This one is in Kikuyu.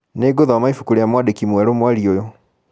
Nĩngũthoma ibuku rĩa mwandĩki mwerũ mweri ũyũ.